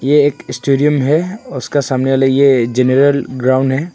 ये एक स्टेडियम है और उसका सामने वाला ये जनरल ग्राउंड है।